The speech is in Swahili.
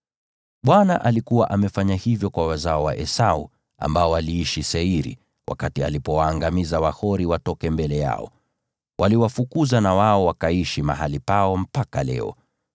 Bwana alikuwa amefanya vivyo hivyo kwa wazao wa Esau, ambao waliishi Seiri, wakati alipowaangamiza Wahori watoke mbele yao. Waliwafukuza na wao wakaishi mahali pao mpaka leo.